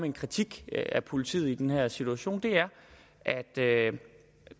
en kritik af politiet i den her situation er at det